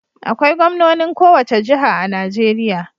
Akwai gwamnonin kowace jiha a Najeriya.